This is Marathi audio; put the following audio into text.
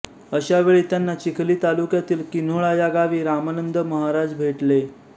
अशा वेळी त्यांना चिखली तालुक्यातील किन्होळा या गावी रामानंद महाराज भेटले